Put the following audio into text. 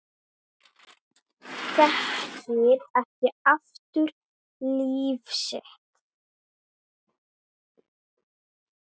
Þekkir ekki aftur líf sitt